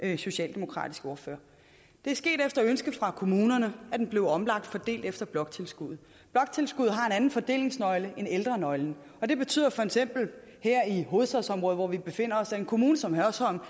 den socialdemokratiske ordfører det er sket efter ønske fra kommunerne at den blev omlagt og fordelt efter bloktilskuddet bloktilskuddet har en anden fordelingsnøgle end ældrenøglen og det betyder feks at her i hovedstadsområdet hvor vi befinder os får en kommune som hørsholm